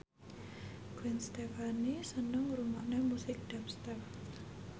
Gwen Stefani seneng ngrungokne musik dubstep